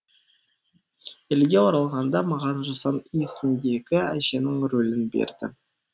елге оралғанда маған жусан иісіндегі әженің рөлін берді